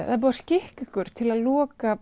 það er búið að skikka ykkur til að loka